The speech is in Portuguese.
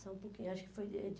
Só um pouquinho, acho que foi em